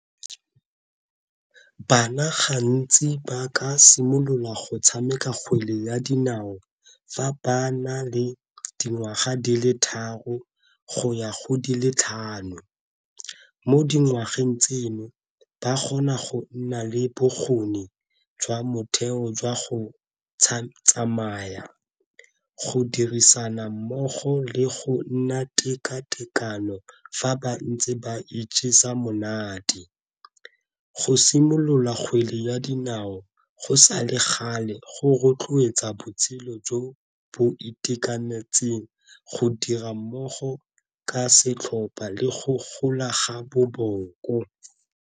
Bana gantsi ba ka simolola go tshameka kgwele ya dinao fa ba na le dingwaga di le tharo go ya go di le tlhano mo dingwageng tseno ba kgona go nna le bokgoni jwa motheo jwa go tsamaya, go dirisana mmogo le go nna tekatekano fa ba ntse ba ijesa monate. Go simolola kgwele ya dinao go sa le gale go rotloetsa botshelo jo bo itekanetseng go dira mmogo ka setlhopa le go gola ga boboko.